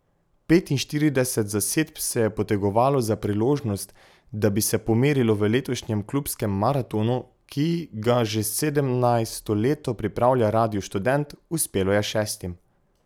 Petinštirideset zasedb se je potegovalo za priložnost, da bi se pomerilo v letošnjem Klubskem maratonu, ki ga že sedemnajsto leto pripravlja Radio Študent, uspelo je šestim.